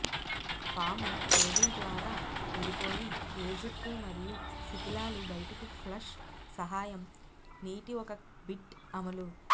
పాము కేబుల్ ద్వారా విడిపోయి ఏ జుట్టు మరియు శిధిలాలు బయటకు ఫ్లష్ సహాయం నీటి ఒక బిట్ అమలు